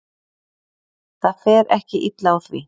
Það fer ekki illa á því.